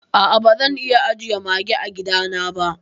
A a bazan iya ajiye Mage a gida na ba.